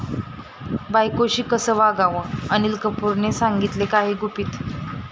बायकोशी कसं वागावं? अनिल कपूरनं सांगितली काही गुपितं